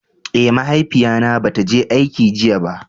Eh, mahaifiya na bata je aiki jiya ba.